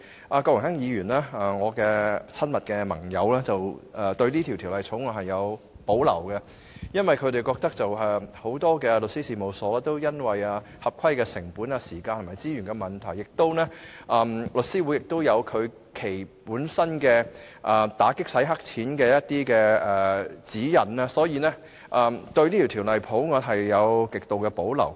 我的親密盟友郭榮鏗議員對《條例草案》有所保留，原因是很多律師事務所對於合規成本、時間和資源等問題均有意見，而且香港大律師公會本身已訂有打擊洗錢的指引，所以他們對《條例草案》極有保留。